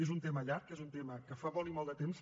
és un tema llarg és un tema que fa molt i molt de temps